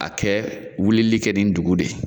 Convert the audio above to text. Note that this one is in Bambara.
A kɛ wulili kɛ nin dugun de ye